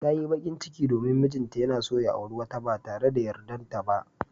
Ta yi bakin ciki domin mijinta yana son ya auri wata ba tare da yardarta ba.